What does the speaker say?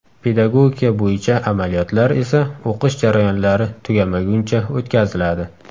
Pedagogika bo‘yicha amaliyotlar esa o‘qish jarayonlari tugamaguncha o‘tkaziladi.